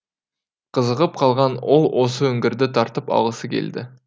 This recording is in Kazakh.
қызығып қалған ол осы үңгірді тартып алғысы келді